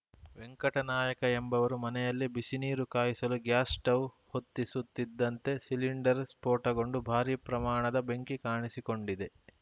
ವೆಂಕಟನಾಯಕ ಎಂಬವರು ಮನೆಯಲ್ಲಿ ಬಿಸಿ ನೀರು ಕಾಯಿಸಲು ಗ್ಯಾಸ್‌ ಸ್ಟೌವ್‌ ಹೊತ್ತಿಸುತ್ತಿದ್ದಂತೆ ಸಿಲಿಂಡರ್‌ ಸ್ಫೋಟಗೊಂಡು ಭಾರೀ ಪ್ರಮಾಣದ ಬೆಂಕಿ ಕಾಣಿಸಿಕೊಂಡಿದೆ